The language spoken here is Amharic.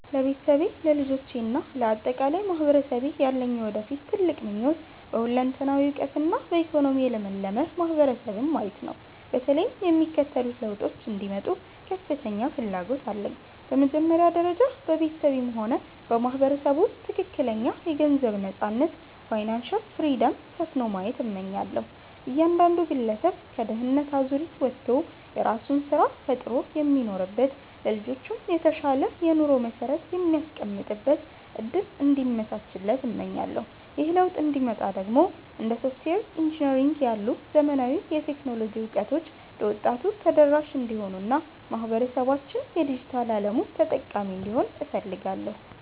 ለቤተሰቤ፣ ለልጆቼ እና ለአጠቃላይ ማህበረሰቤ ያለኝ የወደፊት ትልቁ ምኞት በሁለንተናዊ እውቀትና በኢኮኖሚ የለመለመ ማህበረሰብን ማየት ነው። በተለይም የሚከተሉት ለውጦች እንዲመጡ ከፍተኛ ፍላጎት አለኝ፦ በመጀመሪያ ደረጃ፣ በቤተሰቤም ሆነ በማህበረሰቡ ውስጥ ትክክለኛ የገንዘብ ነፃነት (Financial Freedom) ሰፍኖ ማየት እመኛለሁ። እያንዳንዱ ግለሰብ ከድህነት አዙሪት ወጥቶ የራሱን ስራ ፈጥሮ የሚኖርበት፣ ለልጆቹም የተሻለ የኑሮ መሰረት የሚያስቀምጥበት እድል እንዲመቻች እመኛለሁ። ይህ ለውጥ እንዲመጣ ደግሞ እንደ ሶፍትዌር ኢንጂነሪንግ ያሉ ዘመናዊ የቴክኖሎጂ እውቀቶች ለወጣቱ ተደራሽ እንዲሆኑና ማህበረሰባችን የዲጂታል አለሙ ተጠቃሚ እንዲሆን እፈልጋለሁ።